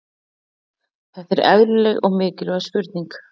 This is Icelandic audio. Þetta er eðlileg og mikilvæg spurning.